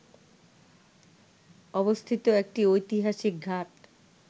অবস্থিত একটি ঐতিহাসিক ঘাট